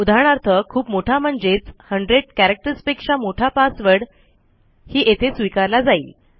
उदाहरणार्थ खूप मोठा म्हणजेच 100 कॅरेक्टर्स पेक्षा मोठा passwordही येथे स्वीकारला जाईल